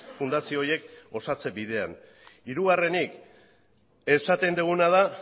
fundazio horiek osatze bidean hirugarrenik esaten duguna da